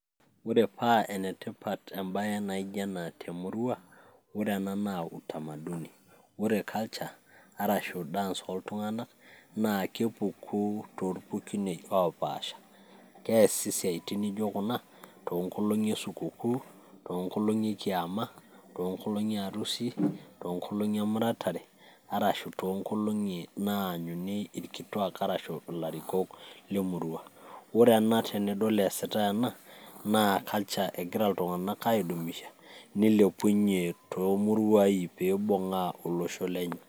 ore paa enetipat ebae naijo ena te murua, ore nena naa utamaduni. ore culture arashu dance oltung'anak naa kepuku torpukunei opaasha, keesi siaitin neijo kuna too nkolong'i esukukuu, too nkolong'i ekiama, too nkolong'i e arusi, too nkolong'i emuratare, arashu too nkolong'i naanyuni ilarikok lemurua. ore ena tenidol eesitae ena, naa culture egira iltung'anak aaidumisha neilepunye toomuruai pee eilepunye tolosho lenye.